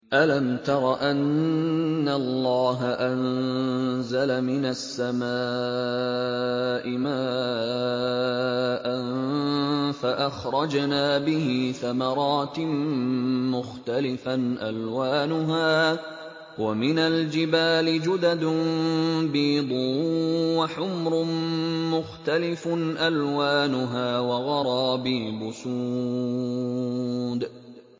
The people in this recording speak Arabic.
أَلَمْ تَرَ أَنَّ اللَّهَ أَنزَلَ مِنَ السَّمَاءِ مَاءً فَأَخْرَجْنَا بِهِ ثَمَرَاتٍ مُّخْتَلِفًا أَلْوَانُهَا ۚ وَمِنَ الْجِبَالِ جُدَدٌ بِيضٌ وَحُمْرٌ مُّخْتَلِفٌ أَلْوَانُهَا وَغَرَابِيبُ سُودٌ